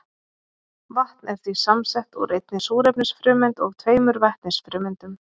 Vatn er því samsett úr einni súrefnisfrumeind og tveimur vetnisfrumeindum.